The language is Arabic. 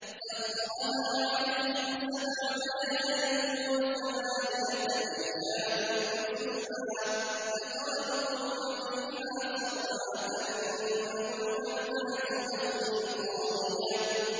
سَخَّرَهَا عَلَيْهِمْ سَبْعَ لَيَالٍ وَثَمَانِيَةَ أَيَّامٍ حُسُومًا فَتَرَى الْقَوْمَ فِيهَا صَرْعَىٰ كَأَنَّهُمْ أَعْجَازُ نَخْلٍ خَاوِيَةٍ